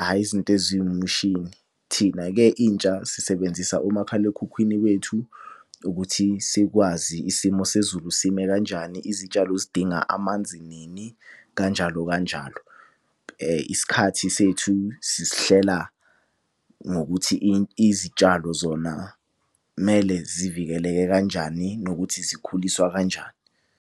hhayi izinto eziwumshini. Thina-ke intsha sisebenzisa umakhalekhukhwini wethu ukuthi sikwazi isimo sezulu sime kanjani izitshalo zidinga amanzi nini, kanjalo kanjalo kanjalo. Isikhathi sethu sisihlela ngokuthi izitshalo zona kumele zivikeleke kanjani nokuthi zikhuliswa kanjani.